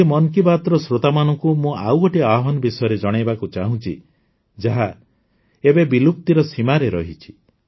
ଆଜି ମନ୍ କି ବାତ୍ର ଶ୍ରୋତାମାନଙ୍କୁ ମୁଁ ଆଉ ଗୋଟିଏ ଆହ୍ୱାନ ବିଷୟରେ ଜଣାଇବାକୁ ଚାହୁଁଛି ଯାହା ଏବେ ବିଲୁପ୍ତିର ସୀମାରେ ରହିଛି